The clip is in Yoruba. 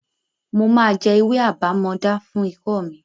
Mo máa jẹ ewé àbámọdá fún ikọ́ mi.